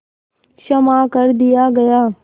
क्षमा कर दिया गया